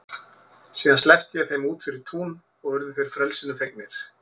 Síðan sleppti ég þeim út fyrir tún og urðu þeir frelsinu fegnir.